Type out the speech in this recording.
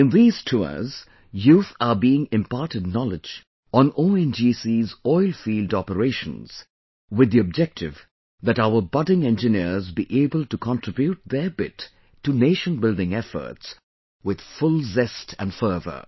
In these tours, youth are being imparted knowledge on ONGC's Oil Field Operations...with the objective that our budding engineers be able to contribute their bit to nation building efforts with full zest and fervor